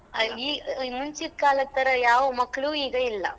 ಆ ಮುಂಚಿದ್ ಕಾಲದ್ತರ ಯಾವ ಮಕ್ಳು ಈಗ ಇಲ್ಲ.